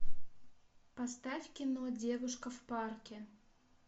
поставь кино девушка в парке